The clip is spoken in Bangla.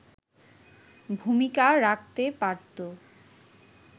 ভূমিকা রাখতে পারতো”